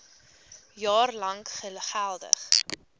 jaar lank geldig